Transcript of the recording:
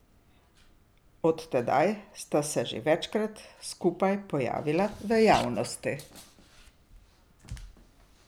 Od tedaj sta se že večkrat skupaj pojavila v javnosti.